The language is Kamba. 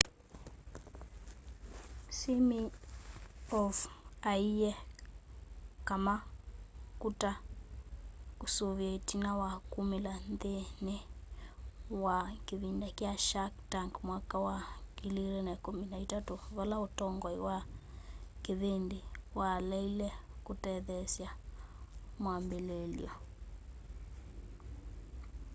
siminoff aiye kama kuta kusoovie itina wa kumila nthini wa kivindi kya shark tank mwaka wa 2013 vala utongoi wa kivindi waleile kutetheesya mwambililyo